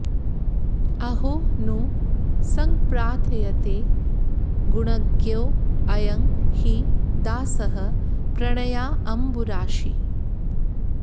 अहो नु संप्रार्थयते गुणज्ञौ अयं हि दासः प्रणयाम्बुराशी